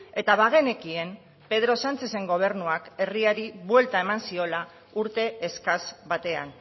eta bagenekien pedro sánchezen gobernuak herriari buelta eman ziola urte eskas batean